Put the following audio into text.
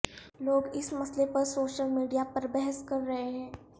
لوگ اس مسئلے پر سوشل میڈیا میں بحث کر رہے ہیں